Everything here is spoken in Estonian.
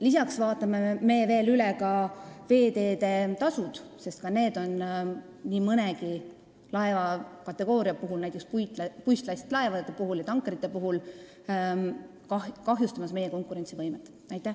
Lisaks vaatame üle veeteede tasud, sest ka need on nii mõnegi laevakategooria puhul, näiteks puistlastilaevad ja tankerid, meie konkurentsivõimet kahjustamas.